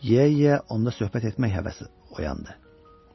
Yeyə-yeyə onda söhbət etmək həvəsi oyandı.